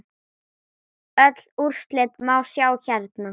Öll úrslit má sjá hérna.